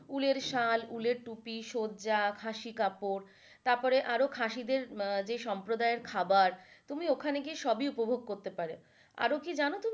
ঊলের সাল, ঊলের টুপি, সজ্জা, খাসি কাপড় তারপরে আরও খাসিদের যে সম্পাদয়ে খাবার তুমি ওখানে গিয়ে সবই উপভোগ করতে পারো।